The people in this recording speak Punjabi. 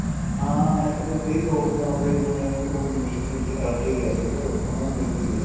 ਹਾਂ NET ਤੇ ਕਈ ਦੋਸਤ ਏ ਉਹਦੇ ਜਿਵੇਂ ਉਹ ਮਿਲ ਕੇ ਆ ਕੇ ਗਿਆ ਘਰੇ ਉਹਨਾ ਨੂੰ ਮਿਲ ਕੇ ਗਿਆ